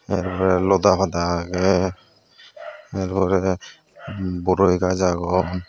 te lota pada agey taar pore boroi gach agon.